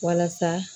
Walasa